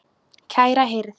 Kæra hirð.